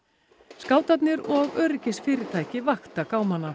skátarnir og öryggisfyrirtæki vakta